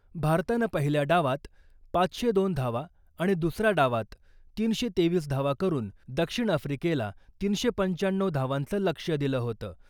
भारतानं पहिल्या डावात पाचशे दोन धावा आणि दुसऱ्या डावात तीनशे तेवीस धावा करून दक्षिण आफ्रिकेला तीनशे पंचाण्णऊ धावांचं लक्ष्य दिलं होतं .